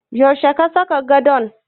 Yaushe ka saka gadon?